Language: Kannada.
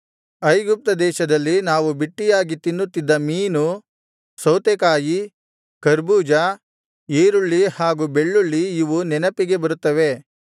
ಐಗುಪ್ತ ದೇಶದಲ್ಲಿ ನಾವು ಬಿಟ್ಟಿಯಾಗಿ ತಿನ್ನುತ್ತಿದ್ದ ಮೀನು ಸೌತೆಕಾಯಿ ಕರ್ಬೂಜ ಈರುಳ್ಳಿ ಹಾಗೂ ಬೆಳ್ಳುಳ್ಳಿ ಇವು ನೆನಪಿಗೆ ಬರುತ್ತವೆ